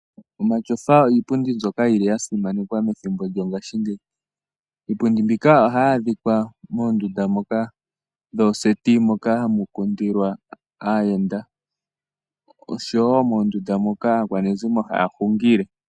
Omatyofa iipundi mbyoka yi li ya simanekwa methimbo lyongashingeyi. Iipundi mbika ohayi adhika moondunda ndhoka dhooseti, moka ha mu kundilwa aayenda osho wo mondunda moka aakwanezimo ha ya hungile.